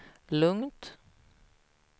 lugnt